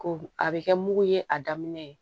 Ko a bɛ kɛ mugu ye a daminɛ